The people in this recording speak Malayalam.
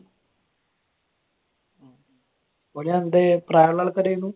ഓര് അന്റെ പ്രായമുള്ള ആൾക്കാരായിരുന്നു?